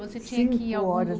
Você tinha que ir a algum